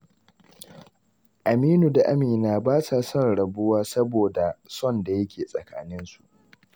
Aminu da Amina ba sa son rabuwa saboda son da yake tsakaninsu.